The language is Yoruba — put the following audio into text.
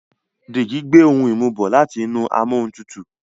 Deji gbé òún imu bó láti inú Amóhuntutù